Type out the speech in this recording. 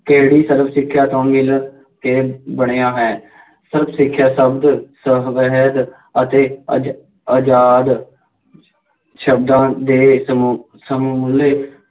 ਕਿਹੜੀ ਸਰਵ ਸਿੱਖਿਆ ਤੋਂ ਮਿਲ ਕੇ ਬਣਿਆ ਹੈ, ਸਰਵ ਸਿੱਖਿਆ ਸ਼ਬਦ ਸਫੈਦ ਅਤੇ ਅਜ਼~ ਆਜ਼ਾਦ ਸ਼ਬਦਾਂ ਦੇ ਸਮੂਹ